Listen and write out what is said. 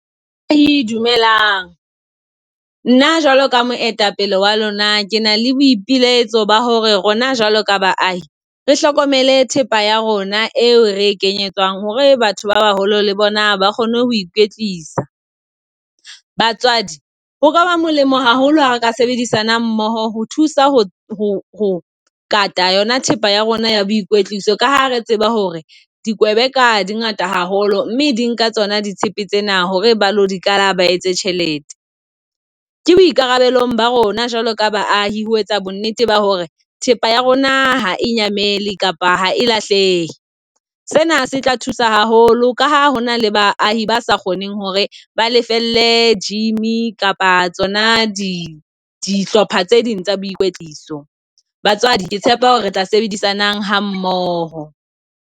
Dumelang, nna jwalo ka moetapele wa lona, ke na le boipilaetso ba hore rona jwalo ka baahi re hlokomele thepa ya rona eo re e kenyetswang hore batho ba baholo le bona ba kgone ho ikwetlisa. Batswadi ho ka ba molemo haholo ha re ka sebedisana mmoho ho thusa ho kata yona thepa ya rona ya boikwetliso, ka ha re tseba hore dikwebeka di ngata haholo mme di nka tsona di tshepe tsena hore ba ilo di kala ba etse tjhelete, ke boikarabelo ba rona jwalo ka baahi ho etsa bonnete ba hore thepa ya rona ha e nyamele kapa ha e lahleha. Sena se tla thusa haholo ka ha hona le baahi ba sa kgoneng hore ba lefelle gym kapa tsona di dihlopha tse ding tsa boikwetliso. Batswadi ke tshepa hore re tla sebedisanang ha mmoho.